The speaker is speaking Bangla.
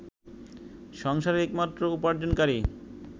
সংসারের একমাত্র উপার্জনকারী